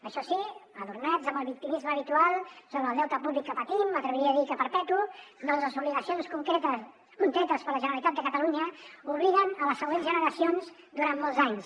això sí adornats amb el victimisme habitual sobre el deute públic que patim m’atreviria a dir que perpetu ja que les obligacions contretes per la generalitat de catalunya obliguen les següents generacions durant molts anys